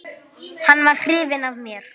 Hann var hrifinn af mér.